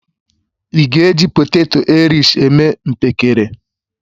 Ị́ ga-eji poteto airish eme mpekere?